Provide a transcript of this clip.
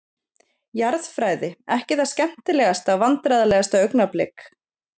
Jarðfræði, ekki það skemmtilegasta Vandræðalegasta augnablik?